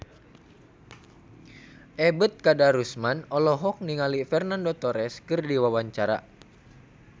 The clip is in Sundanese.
Ebet Kadarusman olohok ningali Fernando Torres keur diwawancara